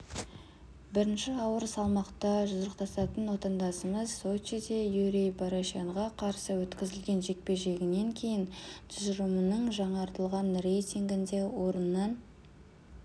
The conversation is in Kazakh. бірінші ауыр салмақта жұдырықтасатын отандасымыз сочиде юрий барашяньға қарсы өткізген жекпе-жегінен кейін тұжырымының жаңартылған рейтингінде орыннан